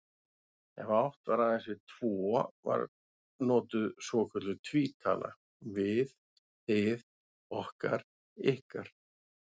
Ef átt var aðeins við tvo var notuð svokölluð tvítala, við, þið, okkar, ykkar.